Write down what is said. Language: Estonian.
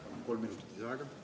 Palun kolm minutit lisaaega!